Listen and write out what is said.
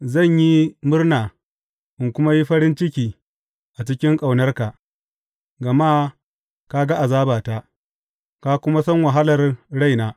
Zan yi murna in kuma yi farin ciki a cikin ƙaunarka, gama ka ga azabata ka kuma san wahalar raina.